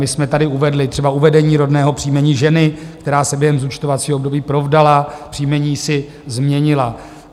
My jsme tady uvedli třeba uvedení rodného příjmení ženy, která se během zúčtovacího období provdala, příjmení si změnila.